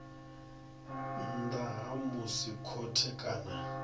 nnḓa ha musi khothe kana